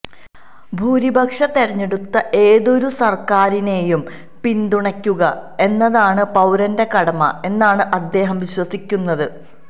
ഭൂരിപക്ഷം തെരഞ്ഞെടുത്ത ഏതൊരു സര്ക്കാറിനെയും പിന്തുണയ്ക്കുക എന്നതാണ് പൌരന്റെ കടമ എന്നാണ് അദ്ദേഹം വിശ്വസിക്കുന്നത്